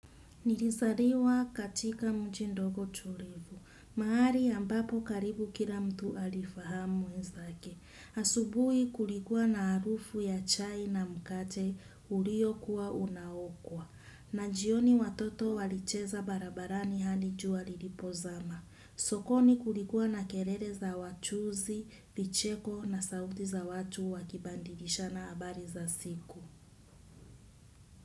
Nilisariwa katika mjindogo tulivu. Mahari ambapo karibu kila mtu alifahamu wenzake. Asubui kulikua na arufu ya chai na mkate uriyo kuwa unaokwa. Na jioni watoto walicheza barabarani halijua lilipozama. Sokoni kulikua na kelele za wachuuzi, vicheko na sauti za watu wakibadilishana habari za siku.